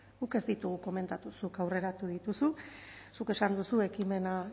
guk ez ditugu komentatu zuk aurreratu dituzu zuk esan duzu ekimena